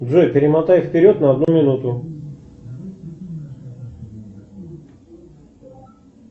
джой перемотай вперед на одну минуту